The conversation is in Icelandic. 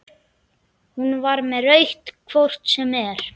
Hún var með rautt hvort sem er.